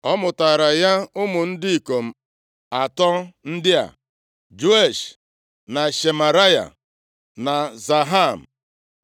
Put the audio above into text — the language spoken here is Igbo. Ọ mụtaara ya ụmụ ndị ikom atọ ndị a: Jeush, na Shemaraya, na Zaham.